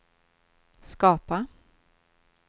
skapa